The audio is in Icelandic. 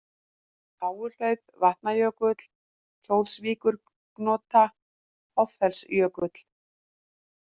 Háuhlaup, Vatnajökull, Kjólsvíkurgonta, Hoffellsjökull